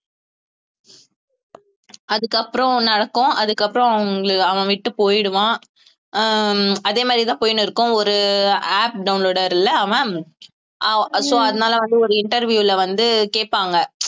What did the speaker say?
அதுக்கப்புறம் நடக்கும் அதுக்கப்புறம் அவங்க~ அவன் விட்டு போயிடுவான் அஹ் அதே மாதிரிதான் போயினு இருக்கும் ஒரு app downloader ல அவன் அஹ் so அதனால வந்து ஒரு interview ல வந்து கேட்பாங்க